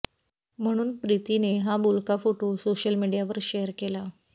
म्हणून प्रितीने हा बोलका फोटो शेअर सोशल मीडियावर शेअर केला